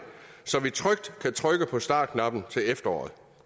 så vi trygt kan trykke på startknappen til efteråret